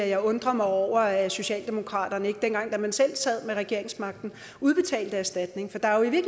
jeg undrer mig over at socialdemokratiet ikke dengang man selv sad med regeringsmagten udbetalte erstatning for der er jo i